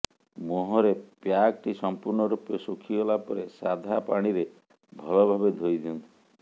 ମୁହଁରେ ପ୍ୟାକଟି ସମ୍ପୂର୍ଣ ରୂପେ ଶୁଖିଗଲା ପରେ ସାଧା ପାଣିରେ ଭଲ ଭାବେ ଧୋଇଦିଅନ୍ତୁ